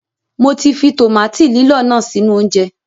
Mọ ti fi tòmáàtì lílọ̀ náà sínú oúnjẹ.